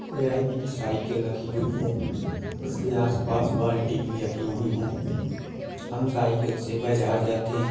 यह एक साइकिल रखी हुई है उसके आस पास बाटी भी रखी हुई हैं हम साइकिल से बाज़ार जाते हैं।